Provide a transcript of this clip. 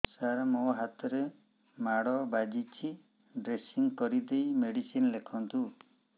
ସାର ମୋ ହାତରେ ମାଡ଼ ବାଜିଛି ଡ୍ରେସିଂ କରିଦେଇ ମେଡିସିନ ଲେଖନ୍ତୁ